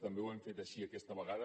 també ho hem fet així aquesta vegada